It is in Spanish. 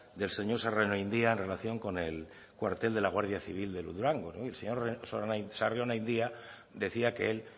del señor sarrionandia en relación con el cuartel de la guardia civil en durango el señor sarrionandia decía que él